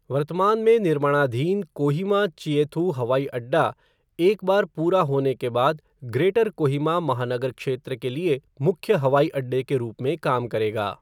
वर्तमान में निर्माणाधीन कोहिमा चिएथू हवाई अड्डा एक बार पूरा होने के बाद ग्रेटर कोहिमा महानगर क्षेत्र के लिए मुख्य हवाई अड्डे के रूप में काम करेगा।